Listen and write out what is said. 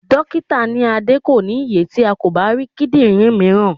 Dókítà ní Adé kò ní ye tí a kò bá rí kíndìnrín mìíràn.